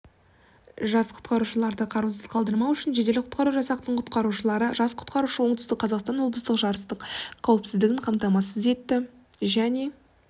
жас құтқарушыларды қараусыз қалдырмау үшін жедел-құтқару жасақтың құтқарушылары жас құтқарушы оңтүстік қазақстан облыстық жарыстың қауіпсіздігін қамтамасыз етті жарыс оңтүстік қазақстан облысы